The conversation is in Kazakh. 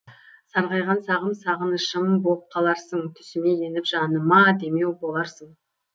сарғайған сағым сағынышым боп қаларсың түсіме еніп жаныма демеу боларсың